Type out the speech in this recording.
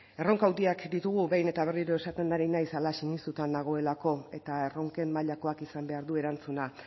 erronka handiak ditugu behin eta berriro esaten ari naiz hala sinistuta nagoelako eta erronken mailakoak izan behar du erantzuna